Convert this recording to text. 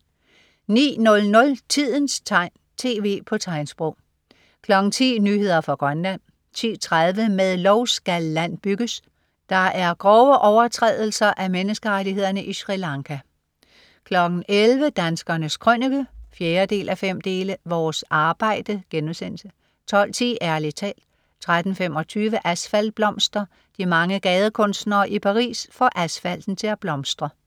09.00 Tidens tegn, tv på tegnsprog 10.00 Nyheder fra Grønland 10.30 Med lov skal land bygges. Der er grove overtrædelser af menneskerettighederne i Sri Lanka 11.00 Danskernes Krønike 4:5. Vores arbejde* 12.10 Ærlig talt 13.25 Asfaltblomster. De mange gadekunstnere i Paris får asfalten til at blomstre